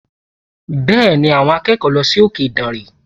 Bẹ́ẹ̀ni, àwọn akẹ́kọ̀ọ́ lọ sí òkè ìdànrè